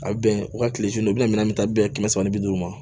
A bɛ bɛn u ka kile u bɛna minɛn ta bɛ ye kɛmɛ saba ni bi duuru ma